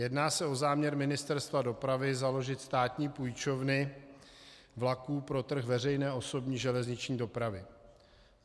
Jedná se o záměr Ministerstva dopravy založit státní půjčovny vlaků pro trh veřejné osobní železniční dopravy.